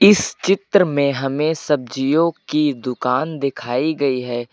इस चित्र में हमें सब्जियों की दुकान दिखाई गई है।